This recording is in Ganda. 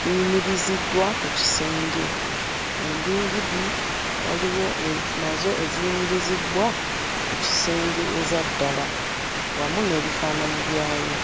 biyimiriziddwa ku kisenge. Endingidi waliwo nazo eziyimirizibbwa ku kisenge eza ddala wamu n'ebifaananyi byayo.